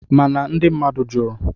Mana ndị mmadụ jụrụ